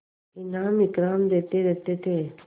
इनाम इकराम देते रहते थे